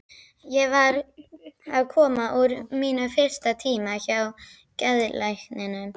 Ég var að koma úr mínum fyrsta tíma hjá geðlækninum.